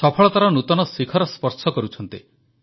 ସଫଳତାର ନୂତନ ଶିଖର ସ୍ପର୍ଶ କରୁଛନ୍ତି